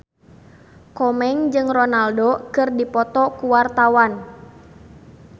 Komeng jeung Ronaldo keur dipoto ku wartawan